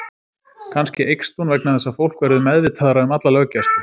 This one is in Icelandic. Kannski eykst hún vegna þess að fólk verður meðvitaðra um alla löggæslu.